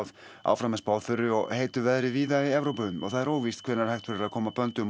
áfram er spáð þurru og heitu veðri víða í Evrópu og það er óvíst hvenær hægt verður að koma böndum á